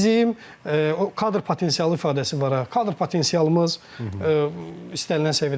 Yəni bizim kadr potensialı ifadəsi var ha, kadr potensialımız istənilən səviyyədə deyil.